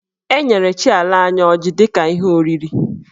E nyere chi ala anyị ọjị dị ka ihe oriri.